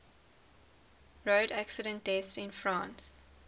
road accident deaths in france